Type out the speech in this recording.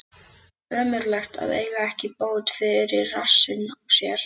Ömurlegt að eiga ekki bót fyrir rassinn á sér.